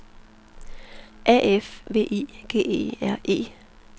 A F V I G E R E